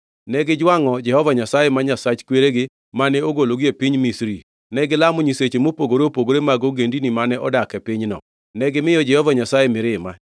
Negijwangʼo Jehova Nyasaye, ma Nyasach kweregi, mane ogologi e piny Misri. Negilamo nyiseche mopogore opogore mag ogendini mane odak e pinyno. Negimiyo Jehova Nyasaye mirima,